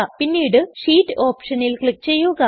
പിന്നീട് ഷീറ്റ് ഓപ്ഷനിൽ ക്ലിക് ചെയ്യുക